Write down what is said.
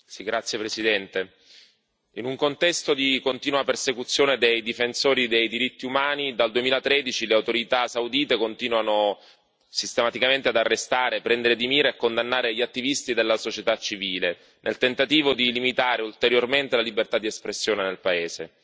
Signor Presidente, onorevoli colleghi, in un contesto di continua persecuzione dei difensori dei diritti umani, dal 2013 le autorità saudite continuano sistematicamente ad arrestare, prendere di mira e condannare gli attivisti della società civile, nel tentativo di limitare ulteriormente la libertà di espressione nel paese.